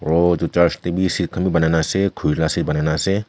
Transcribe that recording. aru etu church te bi seat khan bi banai ne ase khuri la seat banai ne ase.